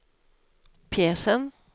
pjäsen